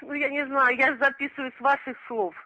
ну я не знаю я же записываю с ваших слов